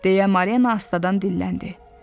Deyə Marina astadan dilləndi.